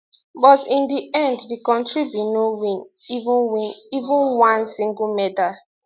but in di end di kontri bin no win even win even one single medal